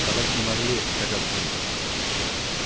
собаки не могли тягаться с ним